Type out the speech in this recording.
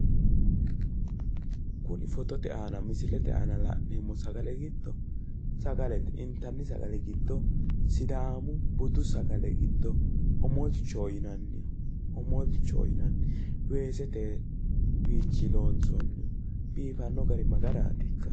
Kuni fotote aanna misilete aanna la'neemo sagale giddo sagalete intani sagale giddo sidaamu budu sagale giddo omolichoho yinaanni omolichoho yinaanni weesete wiichini loonsooni biiffano gari magarati